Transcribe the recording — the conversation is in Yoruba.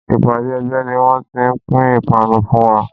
Ìpàdé ẹgbẹ́ ni wón ti pín ipanu fún wa.